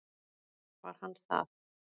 Var hann það?